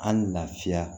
An lafiya